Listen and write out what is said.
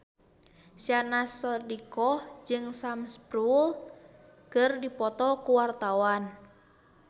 Syahnaz Sadiqah jeung Sam Spruell keur dipoto ku wartawan